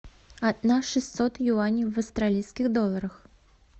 одна шестьсот юаней в австралийских долларах